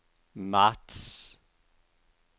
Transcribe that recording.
marts